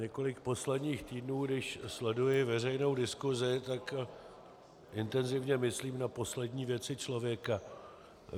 Několik posledních týdnů, když sleduji veřejnou diskusi, tak intenzivně myslím na poslední věci člověka.